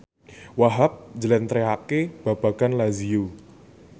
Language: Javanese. Wahhab njlentrehake babagan Lazio